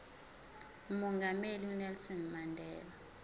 umongameli unelson mandela